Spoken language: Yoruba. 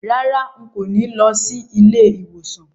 Rárá, n kò ní lọ sí ilé ìwòsàn